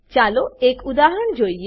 ચાલો એક ઉદાહરણ જોઈએ